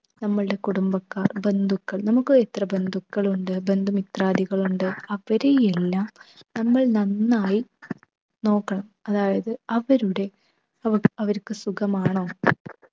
നമ്മളുടെ കുടുംബക്കാർ, ബന്ധുക്കൾ നമുക്ക് എത്ര ബന്ധുക്കളുണ്ട് ബന്ധുമിത്രാദികൾ ഉണ്ട് അവരെയെല്ലാം നമ്മൾ നന്നായി നോക്കണം. അതായത് അവരുടെ അവ അവർക്ക് സുഖമാണോ